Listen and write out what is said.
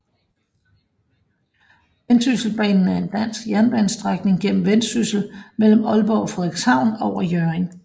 Vendsysselbanen er en dansk jernbanestrækning gennem Vendsyssel mellem Aalborg og Frederikshavn over Hjørring